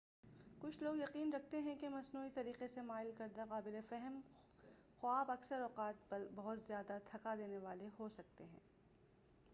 کچھ لوگ یقین رکھتے ہیں کہ مصنوعی طریقے سے مائل کردہ قابلِ فہم خواب اکثر اوقات بہت زیادہ تھکا دینے والے ہو سکتے ہیں